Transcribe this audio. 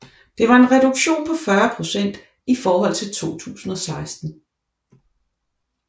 Det var en reduktion på 40 procent i forhold til 2016